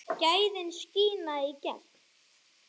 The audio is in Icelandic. Gæðin skína í gegn.